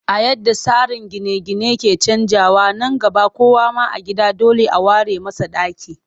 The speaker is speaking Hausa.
A yadda tsarin gine-gine ke canjawa, nan gaba kowa ma a gida dole a ware masa ɗaki